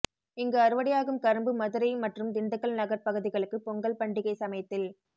இங்கு அறுவடையாகும் கரும்பு மதுரை மற்றும் திண்டுக்கல் நகர் பகுதிகளுக்கு பொங்கல் பண்டிகை சமயத்தில்